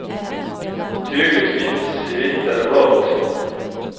Tyget finns i vitt eller blått.